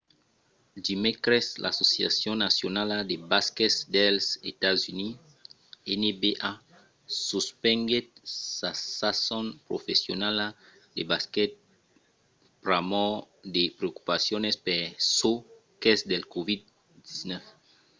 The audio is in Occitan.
dimècres l'associacion nacionala de basquet dels estats units nba suspenguèt sa sason professionala de basquet pr'amor de preocupacions per çò qu'es del covid-19